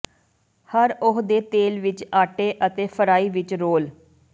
ਹਰ ਉਹ ਦੇ ਤੇਲ ਵਿੱਚ ਆਟੇ ਅਤੇ ਫਰਾਈ ਵਿੱਚ ਰੋਲ